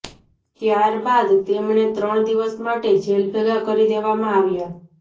ત્યારબાદ તેમને ત્રણ દિવસ માટે જેલભેગા કરી દેવામાં આવ્યા